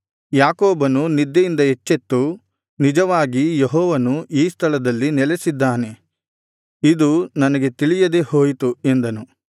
ಯಾಕೋಬನು ನಿದ್ದೆಯಿಂದ ಎಚ್ಚೆತ್ತು ನಿಜವಾಗಿ ಯೆಹೋವನು ಈ ಸ್ಥಳದಲ್ಲಿ ನೆಲೆಸಿದ್ದಾನೆ ಇದು ನನಗೆ ತಿಳಿಯದೆ ಹೋಯಿತು ಎಂದನು